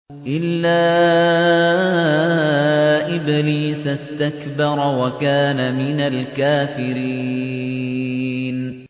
إِلَّا إِبْلِيسَ اسْتَكْبَرَ وَكَانَ مِنَ الْكَافِرِينَ